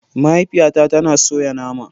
Mahaifiyata tana soya nama.